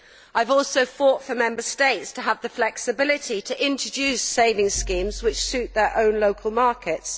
I have also fought for Member States to have the flexibility to introduce savings schemes which suit their own local markets.